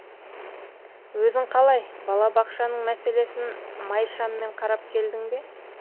өзің қалай бала бақшаның мәселесін май шаммен қарап келдің бе